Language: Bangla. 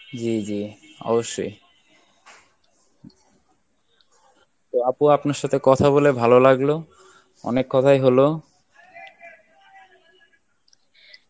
জী জী অবশ্যই তো আপু আপনার সাথে কথা বলে ভালো লাগলো অনেক কথাই হলো